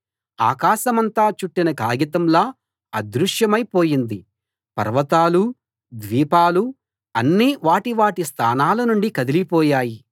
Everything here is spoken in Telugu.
ఆకాశమంతా చుట్టిన కాగితంలా అదృశ్యమై పోయింది పర్వతాలూ ద్వీపాలూ అన్నీ వాటి వాటి స్థానాల నుండి కదిలిపోయాయి